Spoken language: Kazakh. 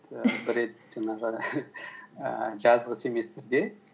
бір рет жаңағы ііі жазғы семестрде